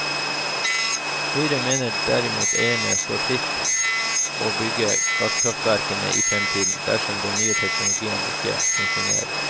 Høyre mener derfor eierne står fritt til å bygge gasskraftverkene i fremtiden, dersom den nye teknologien ikke funksjonerer.